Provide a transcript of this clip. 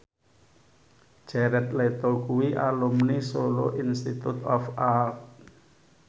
Jared Leto kuwi alumni Solo Institute of Art